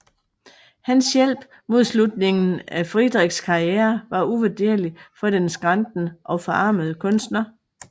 Hans hjælp mod slutningen af Friedrichs karriere var uvurderlig for den skrantende og forarmede kunstner